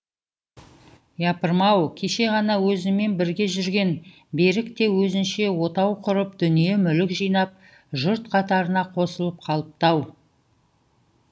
япырмау кеше ғана өзіммен бірге жүрген берік те өзінше отау құрып дүние мүлік жинап жұрт қатарына қосылып қалыпты ау